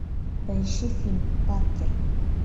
поищи фильм паркер